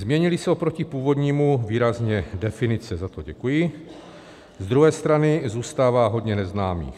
Změnily se oproti původnímu výrazně definice, za to děkuji, z druhé strany zůstává hodně neznámých.